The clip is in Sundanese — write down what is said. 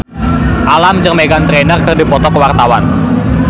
Alam jeung Meghan Trainor keur dipoto ku wartawan